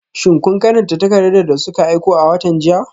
Shin kun karanta takardar da suka aiko a watan jiya?